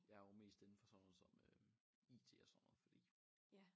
Jeg er jo mest indenfor sådan noget som øh IT og sådan noget fordi